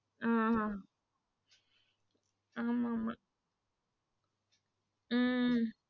ஆ ஆமா ஆமா உம்